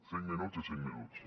cinc minuts i cinc minuts